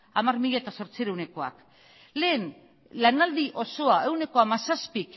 hamar mila zortziehunekoak lehen lanaldi osoa ehuneko hamazazpik